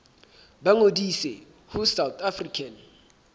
ba ngodise ho south african